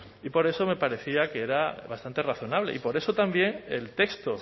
y por eso me parecía que era bastante razonable y por eso también el texto